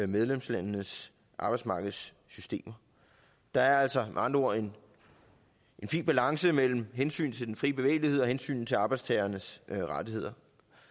medlemslandenes arbejdsmarkedssystemer der er altså med andre ord en fin balance mellem hensynet til den fri bevægelighed og hensynet til arbejdstagernes rettigheder